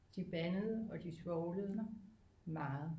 De bandede og de svovlede meget